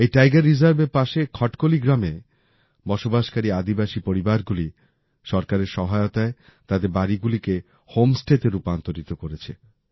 এই টাইগার রিজার্ভের পাশে খটকলি গ্রামে বসবাসকারী আদিবাসী পরিবারগুলি সরকারের সহায়তায় তাদের বাড়িগুলিকে হোম স্টেতে রূপান্তরিত করেছে